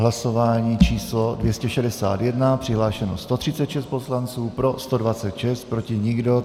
Hlasování číslo 261, přihlášeno 136 poslanců, pro 126, proti nikdo.